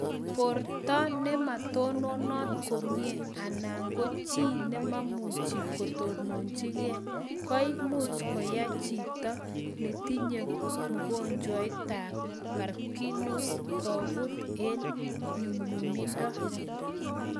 Porta nematononat komie ana ko chii nememuchi kotonchikei koimuch koyai chito netinye mugonjwetab parkinson's koput eng' nyumnyumindo